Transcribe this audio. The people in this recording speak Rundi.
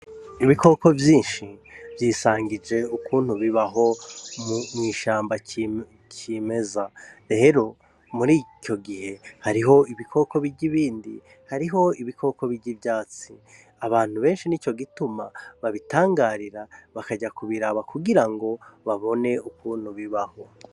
Ibikoko vyinshi vyisangije ukuntu bibaho mw'ishamba cimeza rero murico gihe hariho ibikoko birya ibindi hariho ibikoko birya ivyatsi abantu benshi nico gituma babitangarira bakaja kubiraba kugira ngo babone ukuntu bibaho